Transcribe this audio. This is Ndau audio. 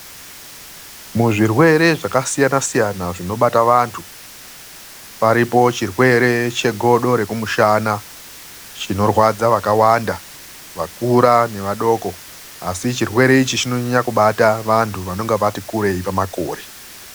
Muzvirwere zvakasiyanasayana zvinobata vantu, paripo chirwere chegodo rekumushana. Chinorwadza vakawanda, vakura nevadoko, asi chirwere ichi chinonyanya kubata vantu vanonge vati kureyi pamakore.